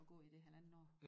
Og gå i det halvandet år